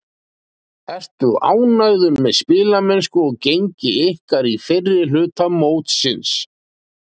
Ertu ánægður með spilamennsku og gengi ykkar í fyrri hluta mótsins?